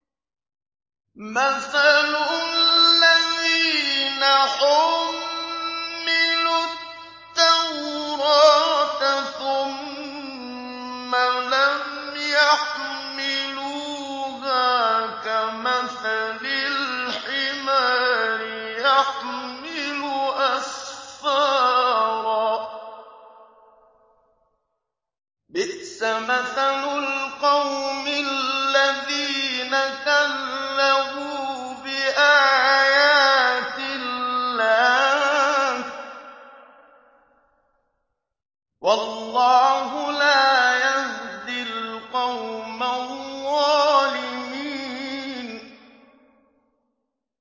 مَثَلُ الَّذِينَ حُمِّلُوا التَّوْرَاةَ ثُمَّ لَمْ يَحْمِلُوهَا كَمَثَلِ الْحِمَارِ يَحْمِلُ أَسْفَارًا ۚ بِئْسَ مَثَلُ الْقَوْمِ الَّذِينَ كَذَّبُوا بِآيَاتِ اللَّهِ ۚ وَاللَّهُ لَا يَهْدِي الْقَوْمَ الظَّالِمِينَ